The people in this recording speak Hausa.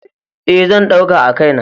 E, zan ɗauka a kai na.